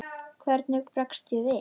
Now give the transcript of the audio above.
Hvernig bregst ég við?